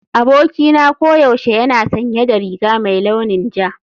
Abokina koyaushe yana sanye da riga mai launin ja.